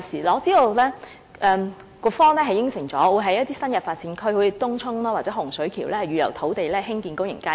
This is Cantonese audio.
我知道局方已承諾會在新發展區，例如東涌或洪水橋預留土地興建公眾街市。